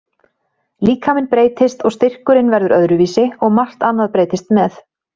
Líkaminn breytist, og styrkurinn verður öðruvísi og margt annað breytist með.